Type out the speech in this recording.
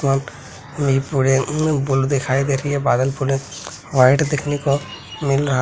वहां पे इ पूरे उम्म दिखाई दे रही है बादल पूरे व्हाइट देखने को मिल रहा है।